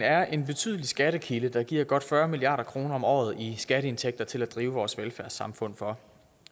er en betydelig skattekilde der giver godt fyrre milliard kroner om året i skatteindtægter til at drive vores velfærdssamfund for